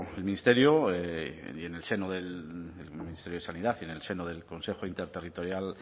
el ministerio y en el seno del ministerio de sanidad y en el seno del consejo interterritorial